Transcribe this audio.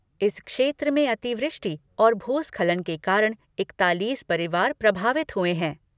इस क्षेत्र में अतिवृष्टि और भूस्खलन के कारण इक्तालीस परिवार प्रभावित हुए हैं।